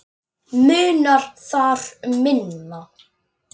Munar þar um minna.